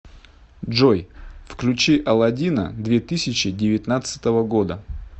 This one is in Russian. джой включи аладдина две тысячи девятнадцатого года